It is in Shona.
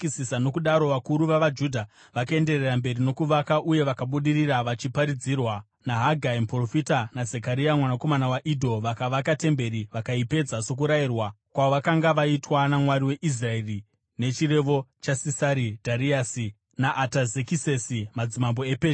Nokudaro vakuru vavaJudha vakaenderera mberi nokuvaka uye vakabudirira vachiparidzirwa naHagai muprofita naZekaria mwanakomana waIdho. Vakavaka temberi vakaipedza sokurayirwa kwavakanga vaitwa naMwari weIsraeri nechirevo chaSirasi, Dhariasi naAtazekisesi madzimambo ePezhia.